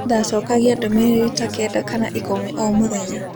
Ndacokagia ndũmĩrĩri ta kenda kana ikũmi o mũthenya.